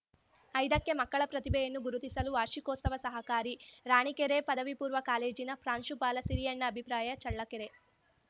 ಐದಕ್ಕೆಮಕ್ಕಳ ಪ್ರತಿಭೆಯನ್ನು ಗುರುತಿಸಲು ವಾರ್ಷಿಕೋತ್ಸವ ಸಹಕಾರಿ ರಾಣಿಕೆರೆ ಪದವಿ ಪೂರ್ವ ಕಾಲೇಜಿನ ಪ್ರಾಂಶುಪಾಲ ಸಿರಿಯಣ್ಣ ಅಭಿಪ್ರಾಯ ಚಳ್ಳಕೆರೆ